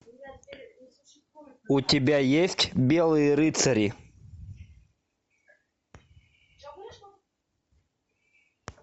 у тебя есть белые рыцари